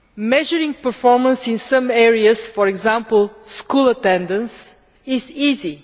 Measuring performance in some areas for example, school attendance is easy.